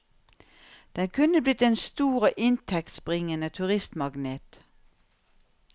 Den kunne blitt en stor og inntektsbringende turistmagnet.